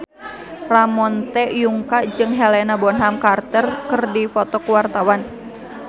Ramon T. Yungka jeung Helena Bonham Carter keur dipoto ku wartawan